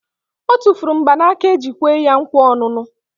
Otufuru mgbanaka eji kwe ya nkwa onunu